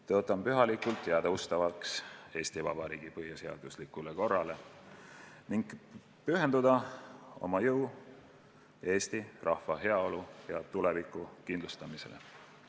Tõotan pühalikult jääda ustavaks Eesti Vabariigi põhiseaduslikule korrale ning pühendada oma jõu eesti rahva heaolu ja tuleviku kindlustamisele.